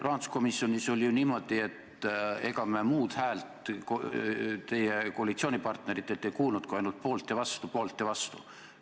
Rahanduskomisjonis oli ju niimoodi, et ega me muud häält teie koalitsioonipartneritelt kuulnud kui ainult "poolt" ja "vastu", "poolt" ja "vastu".